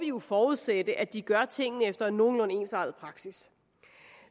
jo forudsætte at de gør tingene efter en nogenlunde ensartet praksis